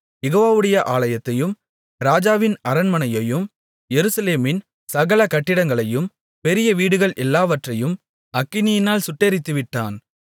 யெகோவாவுடைய ஆலயத்தையும் ராஜாவின் அரண்மனையையும் எருசலேமின் சகல கட்டிடங்களையும் பெரிய வீடுகள் எல்லாவற்றையும் அக்கினியால் சுட்டெரித்துவிட்டான்